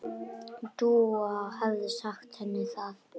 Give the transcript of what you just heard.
Dúa hefði sagt henni það.